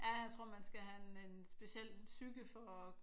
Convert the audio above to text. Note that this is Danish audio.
Ja jeg tror man skal have en speciel psyke for